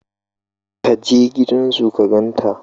Ka je gidan su ka gan ta